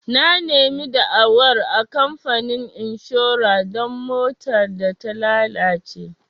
Na nemi da'awar a kamfanin inshora don motar da ta lalace.